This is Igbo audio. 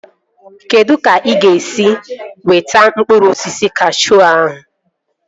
Kedụ ka ị ga-esi wọta mkpụrụ osisi kashuu ahụ?